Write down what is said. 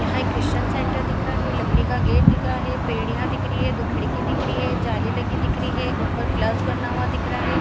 यहाँ एक christian centre दिख रहा है लकड़ी का गेट दिख रहा है पेड़ यहाँ दिख रही है दो खिड़की दिख रही है जाली लगी दिख रही है उपर प्लस बना दिख रहा है।